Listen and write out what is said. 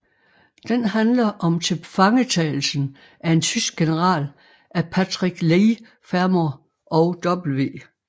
Den handler om tilfangetagelsen af en tysk general af Patrick Leigh Fermor og W